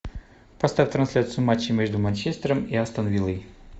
поставь трансляцию матча между манчестером и астон виллой